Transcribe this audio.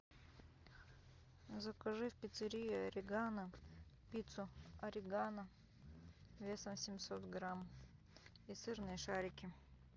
закажи в пиццерии орегано пиццу орегано весом семьсот грамм и сырные шарики